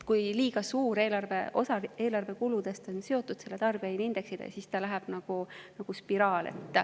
Kui liiga suur osa eelarve kuludest on seotud tarbijahinnaindeksiga, siis see läheb nagu spiraali.